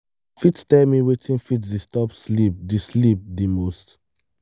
you fit tell me wetin fit disturb sleep di sleep di most?